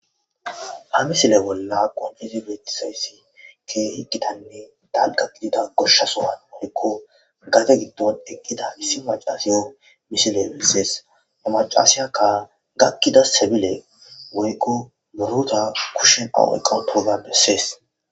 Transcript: ha misile bolla qonqese betizayssi ke hiqkitanne dalga gidida goshshasohan wolekko gate gibdon eqqida misi macasiyon misile bessees namacasiyakka gakkida sebile woykko muruta kushshen awoyqa touza bessees